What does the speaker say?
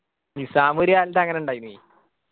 നിസ്സാം ഒരു കാലത്ത് അങ്ങനെ ഇണ്ടായിന്